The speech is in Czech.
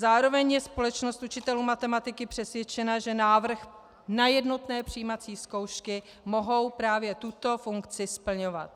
Zároveň je Společnost učitelů matematiky přesvědčena, že návrh na jednotné přijímací zkoušky může právě tuto funkci splňovat.